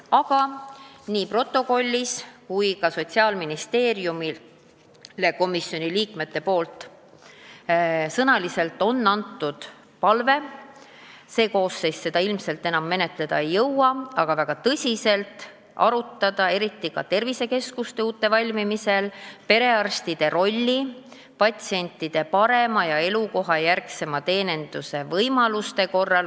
Aga nii protokollis on kirjas kui ka Sotsiaalministeeriumile on komisjoni liikmed suuliselt esitanud palve – see koosseis seda ilmselt enam menetleda ei jõua –, et väga tõsiselt tuleks arutada, eriti uute tervisekeskuste valmimisel, kuidas perearstide roll võimaldaks patsiente paremini ja elukoha lähedal teenindada.